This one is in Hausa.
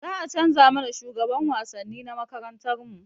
Za a canza mana shugaban wasanni na makarantarmu